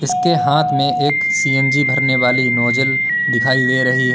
के हाथ में एक सी_एन_जी भरने वाली नोजल दिखाई दे रही है।